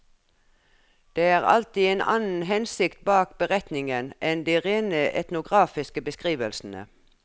Det er alltid en annen hensikt bak beretningen enn de rene etnografiske beskrivelsene.